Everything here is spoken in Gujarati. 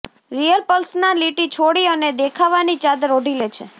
રિયલ પર્સનાલિટી છોડી અને દેખાવા ની ચાદર ઓઢી લે છે